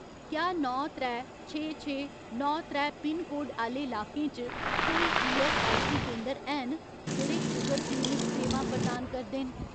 क्या नौ त्रै, छे छे, नौ त्रै पिनकोड आह्‌ले लाकें च कोई ईऐस्सआईसी केंदर हैन जेह्ड़े शूगर क्लिनिक सेवां प्रदान करदे न।